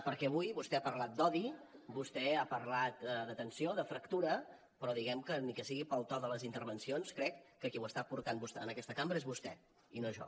perquè avui vostè ha parlat d’odi vostè ha parlat de tensió de fractura però diguem que ni que sigui pel to de les intervencions crec que qui ho està portant en aquesta cambra és vostè i no jo